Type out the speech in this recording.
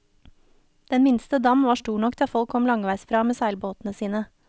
Den minste dam var stor nok til at folk kom langveisfra med seilbåtene sine.